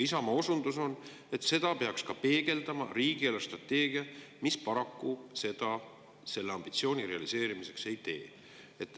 Isamaa osundus on, et seda peaks peegeldama ka riigi eelarvestrateegia, mis paraku seda selle ambitsiooni realiseerimiseks ei tee.